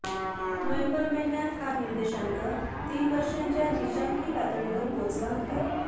November महिन्यात हा निर्देशाकं तीन वर्षांच्या नीचांकी पातळीवर पोहोचला होता